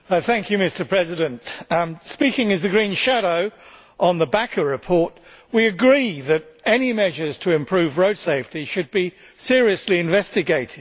Mr President, speaking as the Green shadow rapporteur on the De Backer report, we agree that any measures to improve road safety should be seriously investigated.